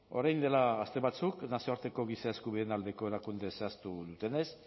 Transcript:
orain dela aste batzuk nazioarteko giza eskubideen aldeko erakunde zehaztu dutenez